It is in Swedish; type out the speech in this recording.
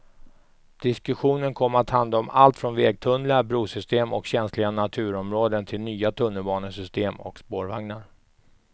Diskussionen kom att handla om allt från vägtunnlar, brosystem och känsliga naturområden till nya tunnelbanesystem och spårvagnar.